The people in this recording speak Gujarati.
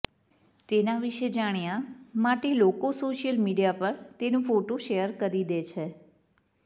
તેના વિષે જાણ્યા માટે લોકો સોશિયલ મીડિયા પર તેનો ફોટો શેયર કરી દે છે